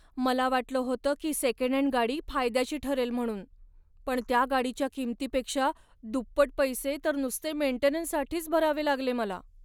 मला वाटलं होतं की सेकंड हँड गाडी फायद्याची ठरेल म्हणून, पण त्या गाडीच्या किमतीपेक्षा दुप्पट पैसे तर नुसते मेंटेनन्ससाठीच भरावे लागले मला.